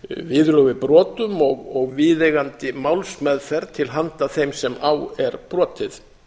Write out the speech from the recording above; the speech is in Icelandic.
viðurlög við brotum og viðeigandi málsmeðferð til handa þeim sem á er brotið